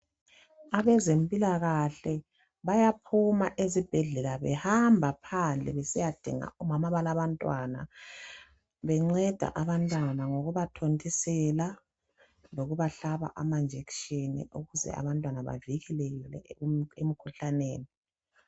abezempilakahle bayaphuma esibhedlela behamba besiyadinga omama abalabantwana benceda abantwana ngokuba thontisela lokubahlaba amanjekitshini ukuze abantwana bavilekele emikhuhlaneni